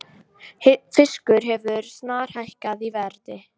Fiskur hefur snarhækkað í verði